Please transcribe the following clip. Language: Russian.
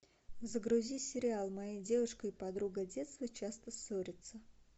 загрузи сериал моя девушка и подруга детства часто ссорятся